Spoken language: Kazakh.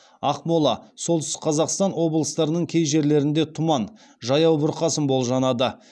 ақмола солтүстік қазақстан облыстарының кей жерлерінде тұман жаяу бұрқасын болжанады